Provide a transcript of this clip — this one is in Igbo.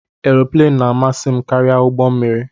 Aeroplane na-amasị m karịa ụgbọ mmiri